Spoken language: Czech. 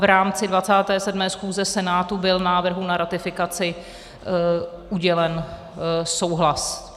V rámci 27. schůze Senátu byl návrhu na ratifikaci udělen souhlas.